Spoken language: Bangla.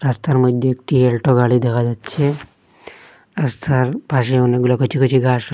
রাস্তার মধ্যে একটি এল্টো গাড়ি দেখা যাচ্ছে রাস্তার পাশে অনেকগুলা কচি কচি ঘাস--